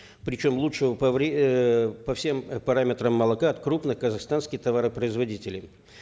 причем лучшего по эээ по всем параметрам молока от крупных казахстанских товаропроизводителей